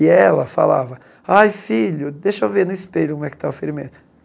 E ela falava, ai filho, deixa eu ver no espelho como é que está o ferimento.